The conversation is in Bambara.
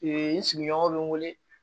n sigiɲɔgɔn bɛ n wele